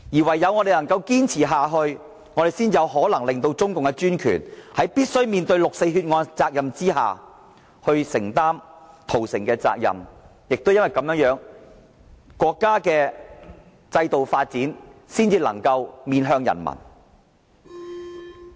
唯有我們堅持下去，才有可能令中共政權面對六四血案責任，承擔屠城責任，也唯有如此，國家的制度發展才能坦誠面向人民。